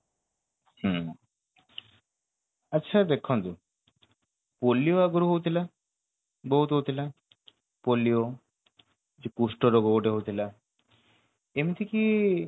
ହୁଁ ଆଚ୍ଛା ଦେଖନ୍ତୁ ପୋଲିଓ ଆଗରୁ ହଉଥିଲା ବହୁତ ହଉଥିଲା ପୋଲିଓ ସେ କୁଷ୍ଟ ରୋଗ ଗୋଟେ ହଉଥିଲା ଏମିତି କି